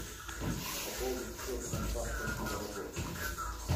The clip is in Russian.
пополнить счет контакта дима работа